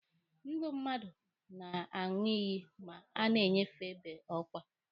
Ndụ mmadụ na-aṅụ iyi ma a na-enyefe be ọkwa.